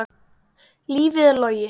Lífið er logi.